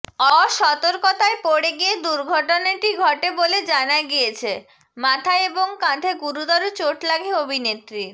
অসর্তকতায় পড়ে গিয়ে দুর্ঘটনাটি ঘটে বলে জানা গিয়েছে মাথায় এবং কাঁধে গুরুতর চোট লাগে অভিনেত্রীর